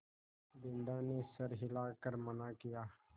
बिन्दा ने सर हिला कर मना किया